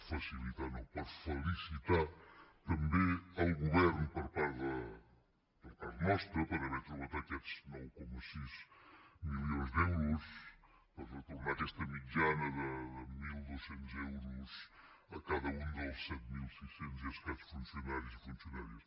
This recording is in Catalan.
facilitar no per felicitar també el govern per part nostra per haver trobat aquests nou coma sis milions d’euros per retornar aquesta mitjana de mil dos cents euros a cada un dels set mil sis cents i escaig funcionaris i funcionàries